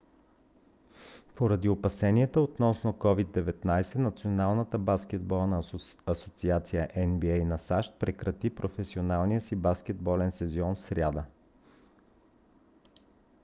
поради опасения относно covid-19 националната баскетболна асоциация нба на сащ прекрати професионалния си баскетболен сезон в сряда